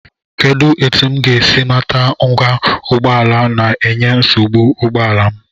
Kedụ etu m ga-esi mata ngwa ụgbọala na-enye nsogbu n'ụgbọala m?